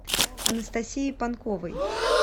анастасии панковой